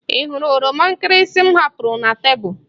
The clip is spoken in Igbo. Ị hụrụ oroma nkịrịsị m hapụrụ na tebụl?